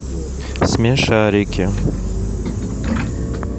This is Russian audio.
смешарики